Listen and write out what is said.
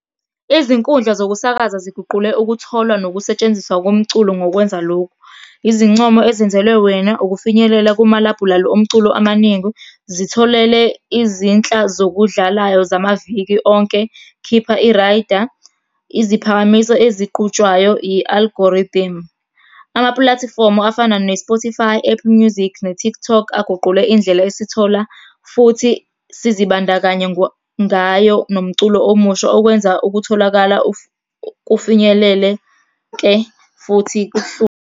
Izinkundla zokusakaza ziguqule ukutholwa nokusetshenziswa komculo ngokwenza lokhu, izincomo ezenzelwe wena, ukufinyelela kumalabhulali omculo amaningi, zitholele izinhla zokudlalayo zamaviki onke, khipha i-rider, iziphakamiso ezigqutshwayo, i-algorithm. Amapulatifomu afana ne-Spotify, Apple Music, ne-TikTok, aguqule indlela esithola, futhi sizibandakanya ngayo nomculo omusha, okwenza ukutholakala kufinyelele-ke futhi .